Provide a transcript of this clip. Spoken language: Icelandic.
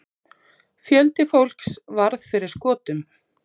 Fjöldi fólks varð fyrir skotum.